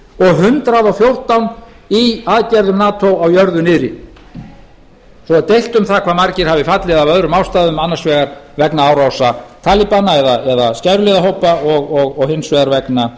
og hundrað og fjórtán í aðgerðum nato á jörðu niðri svo er deilt um það hve margir hafi fallið af öðrum ástæðum annars vegar vegna árása talibana eða skæruliðahópa og hins vegar vegna